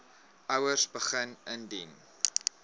ouers begin indien